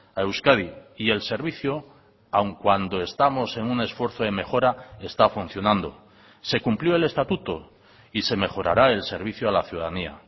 a euskadi y el servicio aun cuando estamos en un esfuerzo de mejora está funcionando se cumplió el estatuto y se mejorará el servicio a la ciudadanía